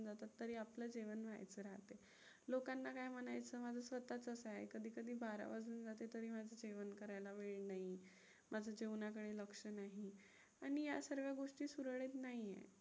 लोकांना काय म्हणायचं माझं स्वतःचच आहे, कधी कधी बारा वाजून जातात तरी माझे जेवण करायला वेळ नाही, माझं जेवणाकडे लक्ष नाही. आणि ह्या सगळ्या गोष्टी सुरळीत नाही आहेत.